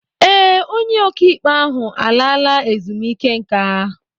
Ee, onye okaikpe ahụ alaala ezumiike nka.